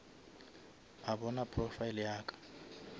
a bona profile ya ka